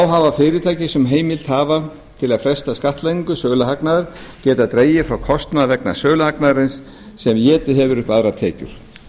hafa fyrirtæki sem heimild hafa til að fresta skattlagningu söluhagnaðar getað dregið frá kostnað vegna söluhagnaðarins sem étið hefur upp aðrar tekjur